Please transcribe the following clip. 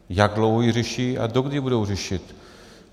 Jak dlouho ji řeší a dokdy ji budou řešit?